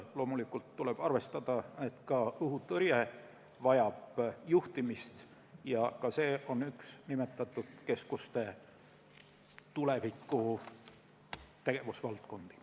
Loomulikult tuleb arvestada, et ka õhutõrje vajab juhtimist ja ka see on üks nimetatud keskuste tuleviku tegevusvaldkondi.